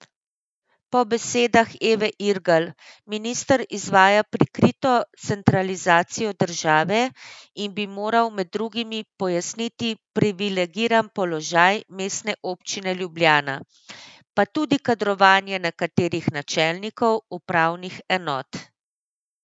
Po besedah Eve Irgl minister izvaja prikrito centralizacijo države in bi moral med drugim pojasniti privilegiran položaj Mestne občine Ljubljana, pa tudi kadrovanje nekaterih načelnikov upravnih enot.